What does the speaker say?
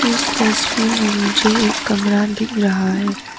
इस तस्वीर में मुझे एक कमरा दिख रहा है।